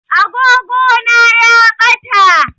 Agogona ya ɓata